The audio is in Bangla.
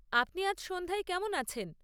আপনি আজ সন্ধ্যায় কেমন আছেন?